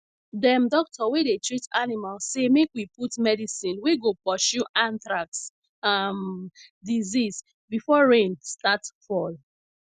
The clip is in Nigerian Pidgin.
dem doctor wey dey treat animal say make we put medicine wey go pursue anthrax um disease before rain start fall